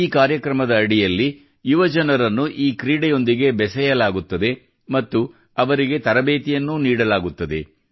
ಈ ಕಾರ್ಯಕ್ರಮದ ಅಡಿಯಲ್ಲಿ ಯುವಜನರನ್ನು ಈ ಕ್ರೀಡೆಯೊಂದಿಗೆ ಬೆಸೆಯಲಾಗುತ್ತದೆ ಮತ್ತು ಅವರಿಗೆ ತರಬೇತಿಯನ್ನೂ ನೀಡಲಾಗುತ್ತದೆ